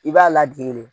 I b'a ladege de